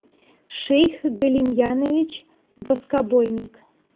шейх галимьянович воскобойник